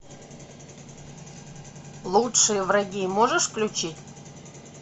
лучшие враги можешь включить